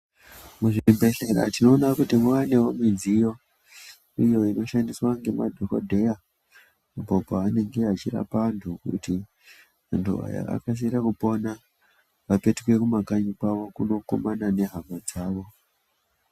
Muzvibhedhlera tinoona kuti maanewo mudziyo iyo inoshandiswa ngemadhokodheya apo pavanenge vachiripa antu kuti antu aya akasire kupona apetuke kumakanyi kwavo kunokumana nehama dzavo.